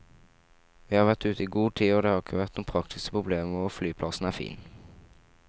Vi har vært ute i god tid og det har ikke vært noen praktiske problemer og flyplassen er fin.